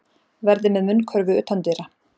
Verði með munnkörfu utandyra